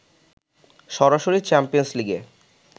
সরাসরি চ্যাম্পিয়ন্স লিগে